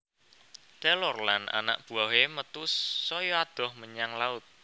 Taylor lan anak buwahé metu saya adoh menyang laut